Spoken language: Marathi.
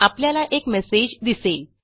आपल्याला एक मेसेज दिसेल